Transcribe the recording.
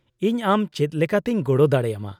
-ᱤᱧ ᱟᱢ ᱪᱮᱫ ᱞᱮᱠᱟᱛᱤᱧ ᱜᱚᱲᱚ ᱫᱟᱲᱮ ᱟᱢᱟ ?